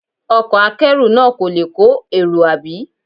Ọkọ̀ akẹ́rù náà kò le kọ́ èrò, àbí?